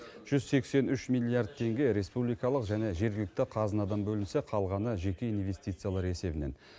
жүз сексен үш миллиард теңге республикалық және жергілікті қазынадан бөлінсе қалғаны жеке инвестициялар есебінен